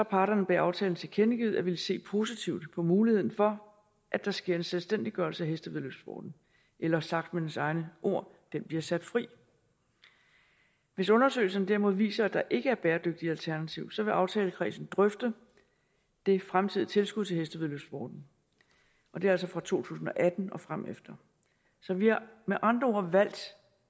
parterne bag aftalen tilkendegivet at ville se positivt på muligheden for at der sker en selvstændiggørelse af hestevæddeløbssporten eller sagt med dens egne ord den bliver sat fri hvis undersøgelserne derimod viser at der ikke er bæredygtige alternativer så vil aftalekredsen drøfte det fremtidige tilskud til hestevæddeløbssporten og det er altså fra to tusind og atten og fremefter så vi har med andre ord valgt